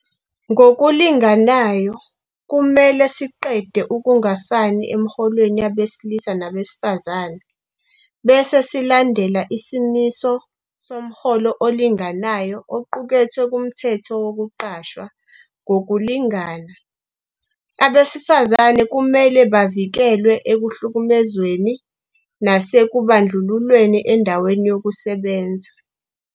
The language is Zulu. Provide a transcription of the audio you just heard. Ngokulinganayo, kumele siqede ukungafani emiholweni yabesilisa nabesifazane, bese silandela isimiso somholo olinganayo oqukethwe kuMthetho Wokuqashwa Ngokulingana. Abesifazane kumele bavikelwe ekuhlukumezweni nasekubandlululweni endaweni yokusebenza.